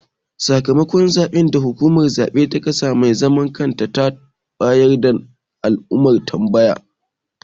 Sakamakon zaɓe da hukumar zaɓe ta ƙasa mai zaman kanta ta bayar na da alamar tambaya.